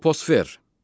Troposfer.